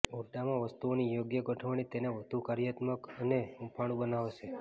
ઓરડામાં વસ્તુઓની યોગ્ય ગોઠવણી તેને વધુ કાર્યાત્મક અને હૂંફાળું બનાવશે